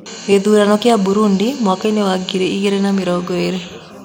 Gĩthurano kĩa Burudi mwakainĩ wa ngiri igĩrĩ na mĩrongo ĩrĩ.